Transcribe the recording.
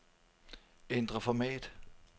Ændr format.